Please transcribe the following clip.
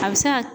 A bɛ se ka